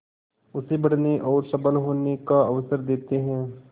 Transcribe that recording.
उसे बढ़ने और सबल होने का अवसर देते हैं